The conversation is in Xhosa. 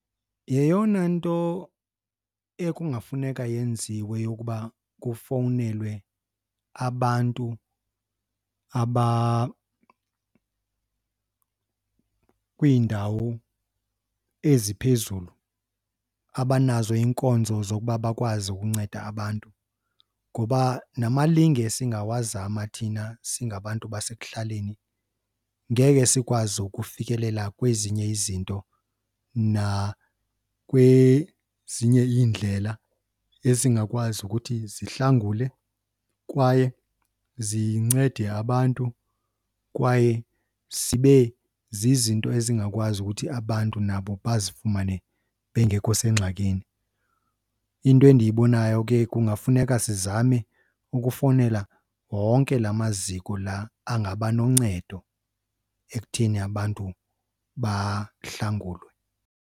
Yeyona nto ekungafuneka yenziwe yokuba kufowunelwe abantu abakwiindawo eziphezulu abanazo iinkonzo zokuba bakwazi ukunceda abantu. Ngoba namalinge esingawazama thina singabantu basekuhlaleni, ngeke sikwazi ukufikelela kwezinye izinto nakwezinye iindlela ezingakwazi ukuthi zihlangule kwaye zincede abantu kwaye zibe zizinto ezingakwazi ukuthi abantu nabo bazifumane bengekho sengxakini. Into endiyibonayo ke kungafuneka sizame ukufowunela wonke la maziko la angaba noncedo ekutheni abantu bahlangulwe.